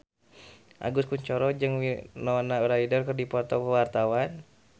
Agus Kuncoro jeung Winona Ryder keur dipoto ku wartawan